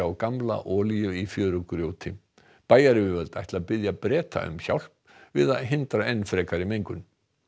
gamla olíu í fjörugrjóti bæjaryfirvöld ætla að biðja Breta um hjálp við að hindra enn frekari mengun